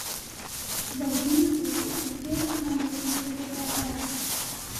в одиннадцать сделать на лоджии попрохладнее